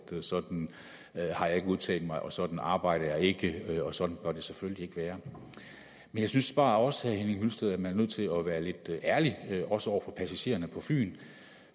sådan har jeg ikke udtalt mig og sådan arbejder jeg ikke og sådan bør det selvfølgelig ikke være men jeg synes bare også herre henning hyllested at man er nødt til at være lidt ærlig også over for passagererne på fyn